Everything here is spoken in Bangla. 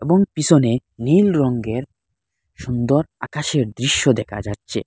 এবং পিসোনে নীল রঙ্গের সুন্দর আকাশের দৃশ্য দেকা যাচ্ছে।